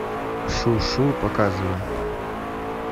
шу шу показывай